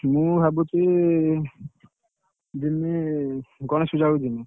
ମୁଁ ଭାବୁଛି, ଜିମି ଗଣେଶ ପୂଜାବେଳକୁ ଜିମି।